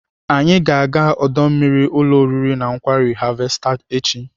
Anyị ga-aga ọdọ mmiri ụlọ oriri na nkwari Harvester echi.